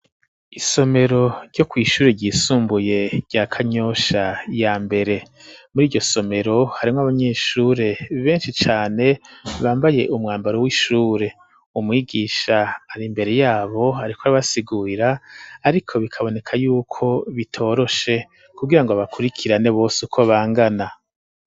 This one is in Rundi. Isomero, ryo kw'ishure ryisumbuye, rya Kanyosha ya mbere; muri iryo somero, harimwo abanyeshure, benshi cane, bambaye umwambaro w'ishure; umwigisha, ari imbere yabo, ariko arabasigurira, ariko bikaboneka y'uko, bitoroshe kugira ngo, abakurikirane bose, uko bangana.